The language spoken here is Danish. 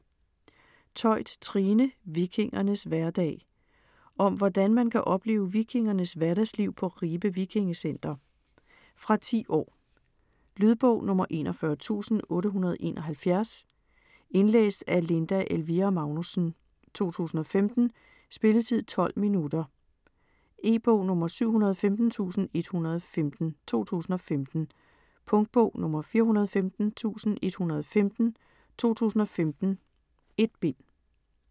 Theut, Trine: Vikingernes hverdag Om hvordan man kan opleve vikingernes hverdagsliv på Ribe VikingeCenter. Fra 10 år. Lydbog 41871 Indlæst af Linda Elvira Magnussen, 2015. Spilletid: 0 timer, 12 minutter. E-bog 715115 2015. Punktbog 415115 2015. 1 bind.